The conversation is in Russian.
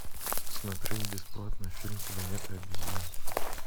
смотреть бесплатно фильм планета обезьян